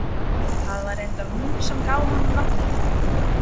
Það var reyndar hún sem gaf honum nafnið.